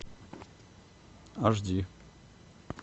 аш ди